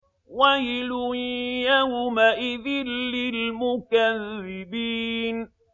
وَيْلٌ يَوْمَئِذٍ لِّلْمُكَذِّبِينَ